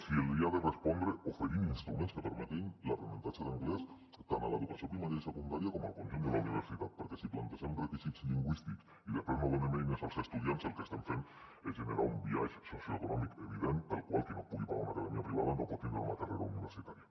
se li ha de respondre oferint instruments que permetin l’aprenentatge d’anglès tant a l’educació primària i secundària com al conjunt de la universitat perquè si plantegem requisits lingüístics i després no donem eines als estudiants el que estem fent és generar un biaix socioeconòmic evident pel qual qui no pugui pagar una acadèmia privada no pot tindre una carrera universitària